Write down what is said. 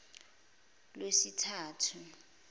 ngolwesithathu